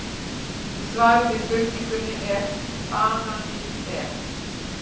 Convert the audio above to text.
Í svari við spurningunni Er banani ber?